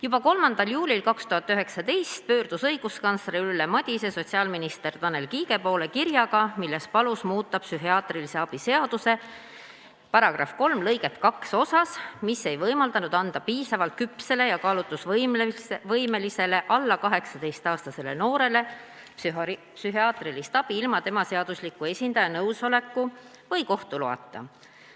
Juba 3. juulil 2019 pöördus õiguskantsler Ülle Madise sotsiaalminister Tanel Kiige poole kirjaga, milles palus muuta psühhiaatrilise abi seaduse § 3 lõiget 2 osas, mis ei võimaldanud anda piisavalt küpsele ja kaalutlusvõimelisele alla 18-aastasele noorele psühhiaatrilist abi ilma tema seadusliku esindaja nõusoleku või kohtu loata.